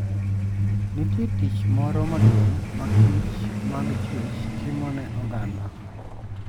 Nitie tich moro maduong' ma kichmag chwech timo ne oganda.